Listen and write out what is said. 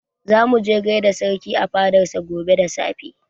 Za mu je mu gaida sarki a fadan sa gobe da safe